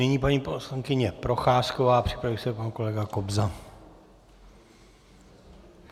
Nyní paní poslankyně Procházková, připraví se pan kolega Kobza.